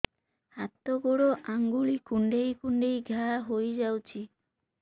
ହାତ ଗୋଡ଼ ଆଂଗୁଳି କୁଂଡେଇ କୁଂଡେଇ ଘାଆ ହୋଇଯାଉଛି